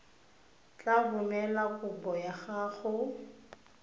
tla romela kopo ya gago